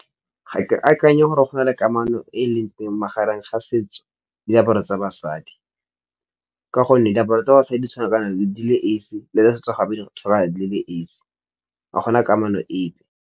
Ga ke akanye gore go na le kamano e e leng teng magareng ga setso diaparo tsa basadi, ka gonne diaparo tsa basadi di tshwana ka nang le esi, le tsa setso gape di tshwana ka nang di ke esi ga gona kamano epe.